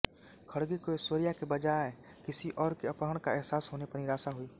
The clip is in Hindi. खड़गे को ऐश्वर्या के बजाय किसी और के अपहरण का एहसास होने पर निराशा हुई